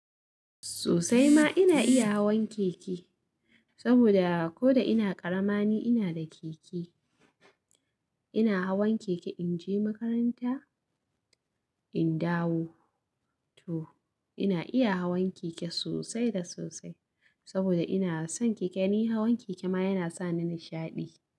Sosai ma ina iya hawan keke, saboda ko da ina karama ni ina da keke. Ina hawan keke in je makaranta, in dawo to. Ina iya hawan keke sosai da sosai saboda ina son keke, ni hawan keke ma yana sa ni nishaɗi.